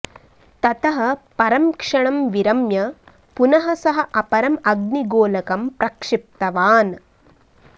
ततः परं क्षणं विरम्य पुनः सः अपरम् अग्निगोलकं प्रक्षिप्तवान्